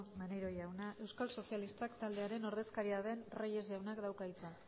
maneiro jauna euskal sozialistak taldearen ordezkaria den reyes jaunak dauka hitza